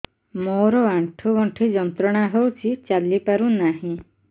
ମୋରୋ ଆଣ୍ଠୁଗଣ୍ଠି ଯନ୍ତ୍ରଣା ହଉଚି ଚାଲିପାରୁନାହିଁ